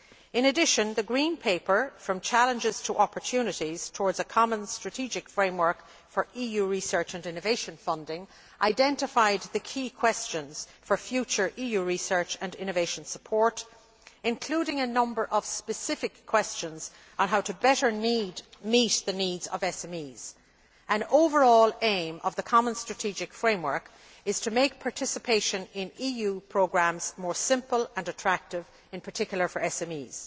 In addition, the Green Paper From Challenges to Opportunities towards a common strategic framework for EU Research and Innovation funding', identified the key questions for future EU research and innovation support, including a number of specific questions on how to better meet the needs of SMEs. An overall aim of the common strategic framework is to make participation in EU programmes more simple and attractive, in particular for SMEs.